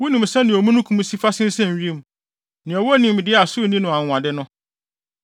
Wunim sɛnea omununkum si fa sensɛn wim, nea ɔwɔ nimdeɛ a so nni no anwonwade no?